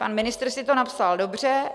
Pan ministr si to napsal dobře.